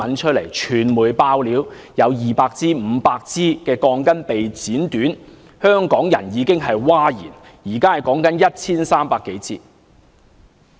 傳媒"爆料"有200支、500支鋼筋被剪短，香港人已經譁然，現時說的是 1,300 多支。